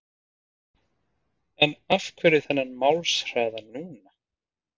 En af hverju þennan málshraða núna?